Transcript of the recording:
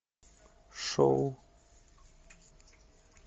шоу